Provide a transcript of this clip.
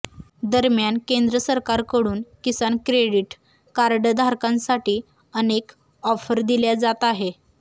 दरम्यान केंद्र सरकारकडून किसान क्रेडिट कार्डधारकांसाठी अनेक ऑफर दिल्या जात आहेत